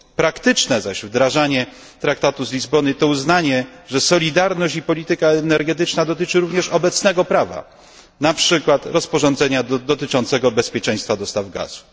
Praktyczne zaś wdrażanie traktatu z Lizbony, to uznanie, że solidarność i polityka energetyczna dotyczy również obecnego prawa, na przykład rozporządzenia dotyczącego bezpieczeństwa dostaw gazu.